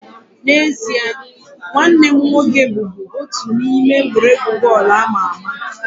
N'ezie, nwanne m nwoke bụbu otu n'ime egwuregwu bọọlụ ama ama